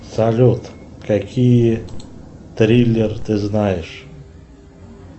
салют какие триллер ты знаешь